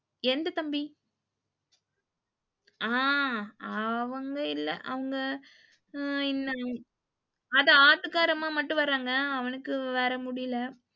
எந்த தம்பி? அ அவங்க இல்ல அவங்க இல் அது ஆட்டுக்கார அம்மா மட்டும் வராங்க, அவனுக்கு வேற முடில.